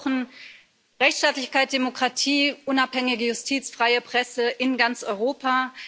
Wir brauchen Rechtsstaatlichkeit, Demokratie, unabhängige Justiz und freie Presse in ganz Europa.